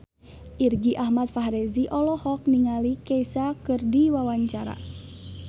Irgi Ahmad Fahrezi olohok ningali Kesha keur diwawancara